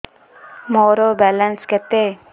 ମୋର ବାଲାନ୍ସ କେତେ